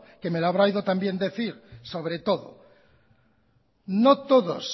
que me lo habrá oído también decir sobre todo no todos